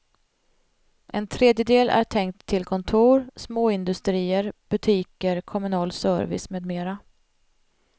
En tredjedel är tänkt till kontor, småindustrier, butiker, kommunal service med mera.